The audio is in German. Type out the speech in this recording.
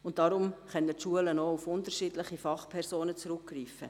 Deshalb können Schulen auch auf unterschiedliche Fachpersonen zurückgreifen.